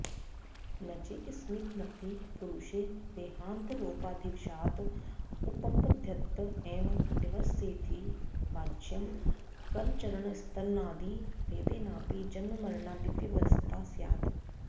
नचैकस्मिन्नपि पुरुषे देहान्तरोपाधिवशात् उपपद्यत एव व्यवस्थेति वाच्यम् करचरणस्तनादिभेदेनापि जन्ममरणादिव्यवस्था स्यात्